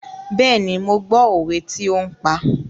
Bẹ́ẹ̀ni, mo gbọ́ òwe tí ó ń pa.